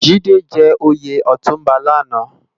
Jide jè óyé òtúnbá làná